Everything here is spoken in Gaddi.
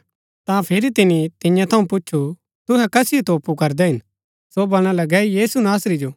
ता फिरी तिनी तियां थऊँ पूच्छु तुहै कसिओ तोपु करदै हिन सो बलणा लगै यीशु नासरी जो